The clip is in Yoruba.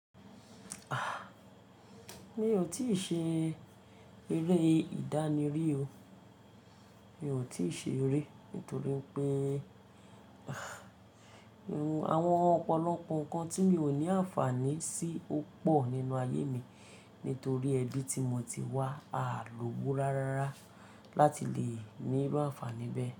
Mi ò tíì ṣe eré ìdáni rí o. Mi ò tíì ṣe eré nítorí pé Àwọn ọ̀pọ̀lọpọ̀ nǹkan tí mi ò ní àǹfààní sí ó pọ̀ nínú ayé mi nítorí ẹbí tí mo ti wá á lòwó rárára láti le ní irú àǹfààní bẹ́ẹ̀